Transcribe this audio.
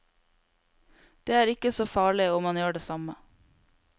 Det er ikke så farlig om man gjør det samme.